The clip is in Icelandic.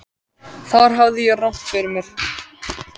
Þar hafði ég rangt fyrir mér.